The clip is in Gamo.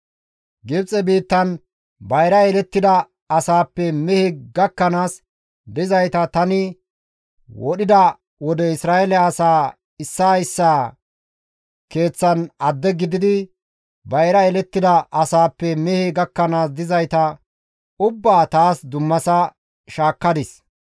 Gibxe biittan bayra yelettida asaappe mehe gakkanaas dizayta tani wodhida wode Isra7eele asaa issaa issaa keeththan adde gididi bayra yelettida asaappe mehe gakkanaas dizayta ubbaa taas dummasa shaakkadis.